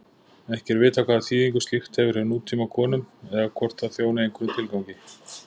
Ekki er vitað hvaða þýðingu slíkt hefur hjá nútímakonum eða hvort það þjóni einhverjum tilgangi.